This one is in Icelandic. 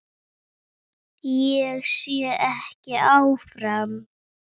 Ég sé ekki áfram.